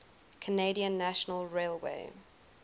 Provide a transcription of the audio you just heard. canadian national railway